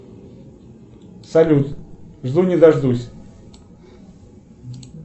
салют жду не дождусь